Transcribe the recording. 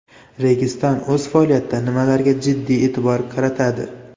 Registon o‘z faoliyatida nimalarga jiddiy e’tibor qaratadi?